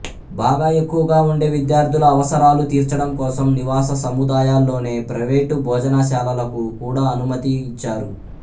బాగా ఎక్కువగా ఉండే విద్యార్థుల అవసరాలు తీర్చడం కోసం నివాస సముదాయాల్లోనే ప్రైవేటు భోజనశాలలకు కూడా అనుమతి ఇచ్చారు